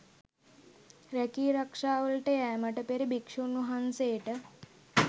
රැකී රක්‍ෂාවලට යෑමට පෙර භික්‍ෂූන්වහන්සේට